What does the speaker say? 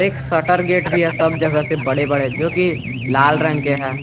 एक shutter gate भी है सब जगह से बड़े बड़े जो की लाल रंग के है।